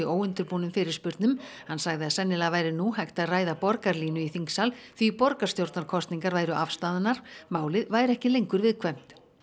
óundirbúnum fyrirspurnum hann sagði að sennilega væri nú hægt að ræða borgarlínu í þingsal því borgarstjórnarkosningar væru afstaðnar málið væri ekki lengur viðkvæmt